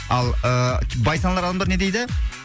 ал ы бай саналы адамдар не дейді